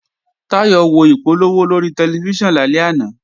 Táyọ̀ wo ìpolówó lórí tẹlifíṣàn lálẹ́ àná